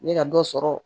N bɛ ka dɔ sɔrɔ